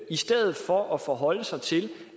i stedet for at ministeren forholder sig til